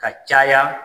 Ka caya